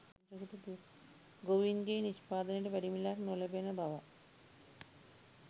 ගොවීන්ගේ නිෂ්පාදනයට වැඩි මිලක් නොලැබෙන බවත්